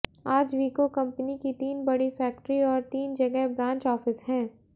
आज विको कंपनी की तीन बड़ी फैक्ट्री और तीन जगह ब्रांच ऑफिस हैं